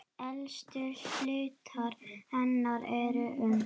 Elstu hlutar hennar eru um